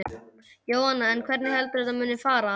Jóhanna: En hvernig heldur þú að þetta muni fara?